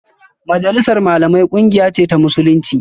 Majalisar Malamai kungiya ce ta Musulunci